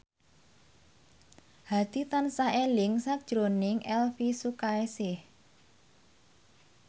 Hadi tansah eling sakjroning Elvi Sukaesih